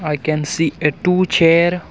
we can see a two chair.